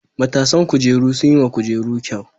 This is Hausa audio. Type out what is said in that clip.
Matasan kujeru sun yi wa kujerun kyau.